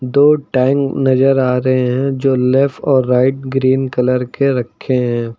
दो टैंक नजर आ रहे हैं जो लेफ्ट और राइट ग्रीन कलर के रखे हैं।